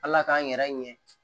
Ala k'an yɛrɛ ɲɛ